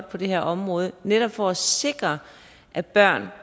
på det her område netop for at sikre at børn